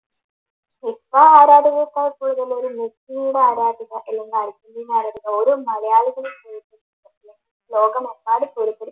football ആരാധകരേക്കാളും കൂടുതൽ മെസ്സിടെ ആരാധിക അല്ലെങ്കിൽ അർജൻറ്റീന ആരാധിക ഓരോ മലയാളികളും ലോകമെമ്പാടും